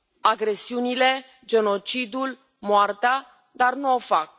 agresiunile, genocidul, moartea, dar nu o fac.